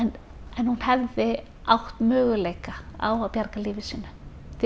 en hún hefði átt möguleika á að bjarga lífi sínu því